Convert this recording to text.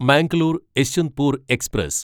Mangalore Yesvantpur express